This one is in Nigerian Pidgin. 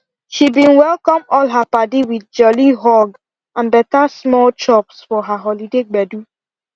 she bin welcome all her padi with jolly hug and better small chops for her holiday gbedu